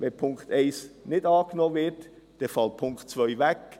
Wenn der Punkt 1 nicht angenommen wird, fällt der Punkt 2 weg.